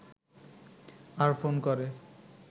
আর phone করে